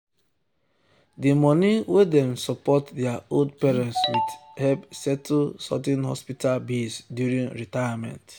the money wey dem support their old parents with help settle sudden hospital bills during retirement.